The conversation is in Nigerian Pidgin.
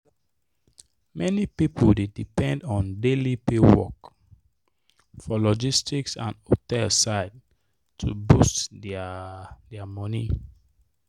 many people dey depend on daily pay work for logistic and hostel side to boost their their money.